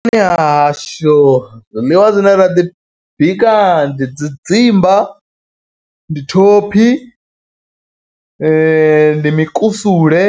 Vhuponi ha hashu zwiḽiwa zwine ra ḓi bika ndi tshidzimba, ndi thophi ndi mikusule,